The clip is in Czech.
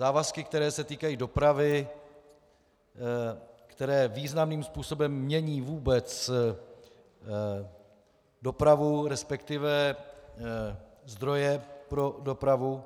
Závazky, které se týkají dopravy, které významným způsobem mění vůbec dopravu, respektive zdroje pro dopravu,